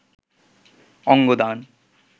অঙ্গ দান